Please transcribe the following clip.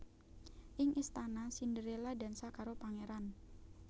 Ing istana Cinderella dansa karo pangeran